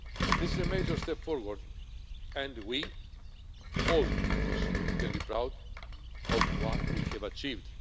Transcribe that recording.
This is a major step forward and we all in this room can be proud of what we have achieved.